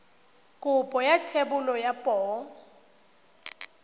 kopo ya thebolo ya poo